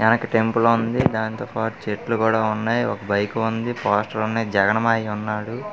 వెనక టెంపుల్ ఉంది దాంతో పాటు చెట్లు కూడా ఉన్నాయి ఒక బైక్ ఉంది పోస్టర్ ఉన్నాయి జగన్ మావయ్య ఉన్నాడు .